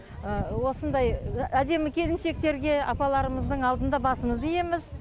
осындай әдемі келіншектерге апаларымыздың алдында басымызды иеміз